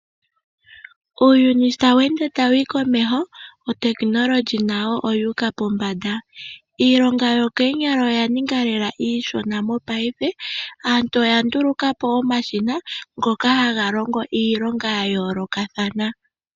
Uuyuni sho tawu ende tawu humu komeho otekinolohi nayo oyu uka pombanda , iilonga yokoonyala oyaninga lela iishona mopaife. Aantu oyanduluka po omashina ngoka haga longo iilonga ya yolokathana.